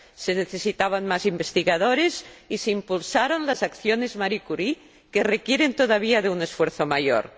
Se necesitaban más investigadores y se impulsaron las acciones Marie Curie, que requieren todavía de un esfuerzo mayor.